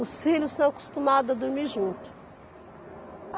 Os filhos são acostumados a dormir junto.